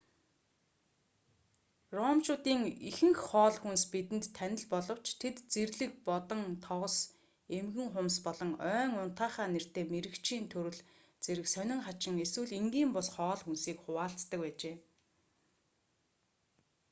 ромчуудын ихэнх хоол хүнс бидэнд танил боловч тэд зэрлэг бодон тогос эмгэн хумс болон ойн унтаахай нэртэй мэрэгчийн төрөл зэрэг сонин хачин эсвэл энгийн бус хоол хүнсийг хуваалцдаг байжээ